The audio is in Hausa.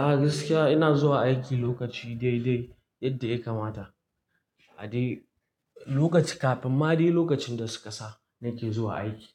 A gaskiya ina zuwa aiki lokaci dai dai yadda ya kamata. A dai lokaci kafin ma dai lokacin da su ƙasa nake zuwa aiki.